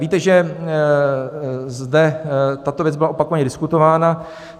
Víte, že zde tato věc byla opakovaně diskutována.